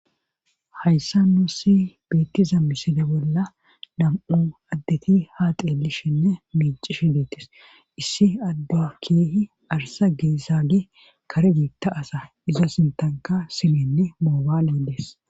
hayssa nuu si beettiza miside bolla nam7u addeti ha xeelishenne miici shideetis; issi adda keehi arsa geesaage kare biitta asa iza sintanka simenne moobaale dees.